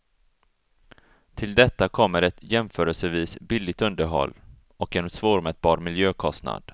Till detta kommer ett jämförelsevis billigt underhåll, och en svårmätbar miljökostnad.